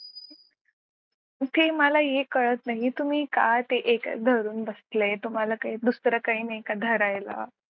ते मला हे कळत नाही तुम्ही का ते एकच धरून बसले आहे तुम्हाला काही दुसरं काही नाही का धरायला.